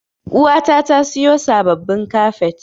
Uwata ta siyo sabbabin kafet.